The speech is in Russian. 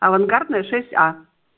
авангардная шесть а